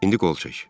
İndi qol çək.